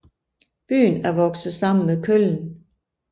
Byen er vokset sammen med Köln